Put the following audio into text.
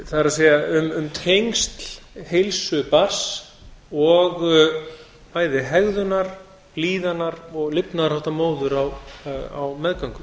það er um tengsl heilsu barns og bæði hegðunar líðanar og lifnaðarhátta móður á meðgöngunni